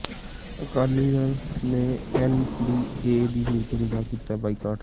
ਅਕਾਲੀ ਦਲ ਨੇ N D A ਦੀ meeting ਦਾ ਕੀਤਾ ਬਾਈਕਾਟ